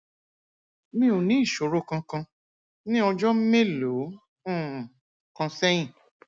mi ò ní ìṣòro kankan ní ọjọ mélòó um kan sẹyìn